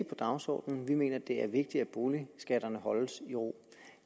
på dagsordenen vi mener det er vigtigt at boligskatterne holdes i ro